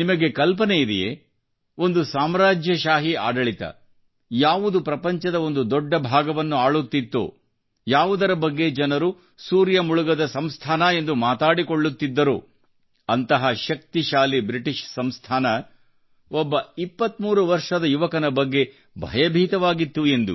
ನಿಮಗೆ ಕಲ್ಪನೆ ಇದೆಯೇ ಒಂದು ಸಾಮ್ರಾಜ್ಯಶಾಹಿ ಆಡಳಿತ ಯಾವುದು ಪ್ರಪಂಚದ ಒಂದು ದೊಡ್ಡ ಭಾಗವನ್ನು ಆಳುತ್ತಿತ್ತೋ ಯಾವುದರ ಬಗ್ಗೆ ಜನರು ಸೂರ್ಯ ಮುಳುಗದ ಸಂಸ್ಥಾನ ಎಂದು ಮಾತಾಡಿಕೊಳ್ಳುತ್ತಿದ್ದಾರೋ ಅಂತಹ ಶಕ್ತಿಶಾಲಿ ಬ್ರಿಟಿಷ್ ಸಂಸ್ಥಾನ ಒಬ್ಬ 23 ವರ್ಷದ ಯುವಕನ ಬಗ್ಗೆ ಭಯಭೀತವಾಗಿತ್ತು ಎಂದು